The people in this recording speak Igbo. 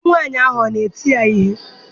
Di nwaanyị ahụ ọ na-eti ya ihe?